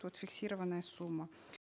вот фиксированная сумма